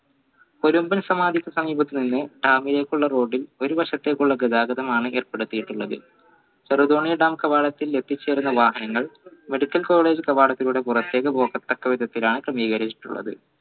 ഒരു സമാധിക്ക് സമീപത്തുനിന്ന് dam ലേക്കുള്ള road ൽ ഒരു വശത്തേക്കുള്ള ഗതാഗതമാണ് ഏർപ്പെടുത്തിയിട്ടുള്ളത് ചെറുതോണി dam കവാടത്തിൽ ലഭിച്ചിരുന്ന വാഹനങ്ങൾ medical college കവാടത്തിലൂടെ പുറത്തേക്ക് പോകത്തക്ക വിധത്തിലാണ് ക്രമീകരിച്ചിട്ടുള്ളത്